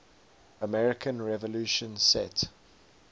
american revolution set